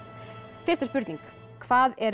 fyrsta spurning hvað er